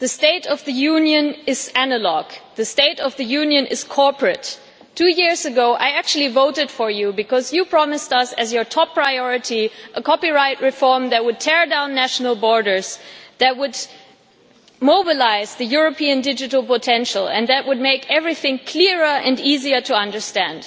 Madam President, the State of the Union is analogue, the State of the Union is corporate. Two years ago, Mr Juncker, I actually voted for you because you promised us, as your top priority, a copyright reform that would tear down national borders, that would mobilise the European digital potential and that would make everything clearer and easier to understand.